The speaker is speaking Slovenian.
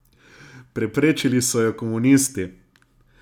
Preprečili so jo komunisti!